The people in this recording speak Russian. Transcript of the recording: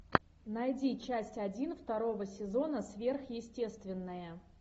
найди часть один второго сезона сверхъестественное